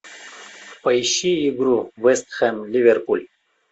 поищи игру вест хэм ливерпуль